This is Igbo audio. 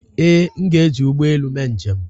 ee, m ga-eji ụgbọ elu mee njem